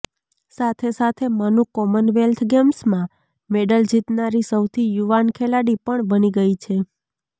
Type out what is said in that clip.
સાથે સાથે મનુ કોમનવેલ્થ ગેમ્સમાં મેડલ જીતનારી સૌથી યુવાન ખેલાડી પણ બની ગઈ છે